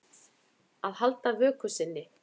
Að halda vöku sinni